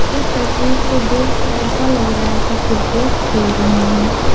इस तस्वीर को देखके ऐसा लग रहा है कि क्रिकेट खेल रहे हैं।